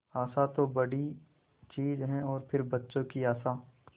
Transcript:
आशा तो बड़ी चीज है और फिर बच्चों की आशा